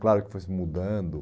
Claro que foi se mudando.